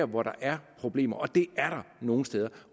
hvor der er problemer og det er der nogle steder